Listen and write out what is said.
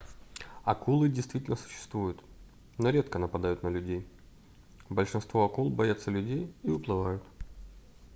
акулы действительно существуют но редко нападают на людей большинство акул боятся людей и уплывают